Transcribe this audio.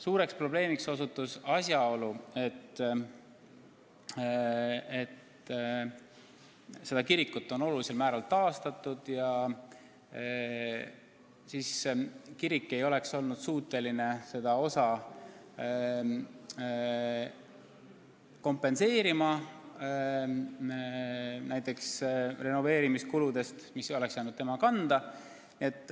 Suur probleem on tekkinud seetõttu, et seda kirikut on olulisel määral taastatud ja kirik poleks olnud suuteline kompenseerima seda osa renoveerimiskuludest, mis oleks jäänud tema kanda.